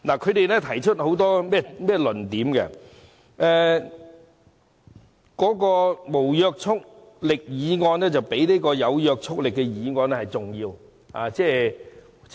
他們提出了很多論點，指責政府把無約束力的議案看得比有約束力的議案重要。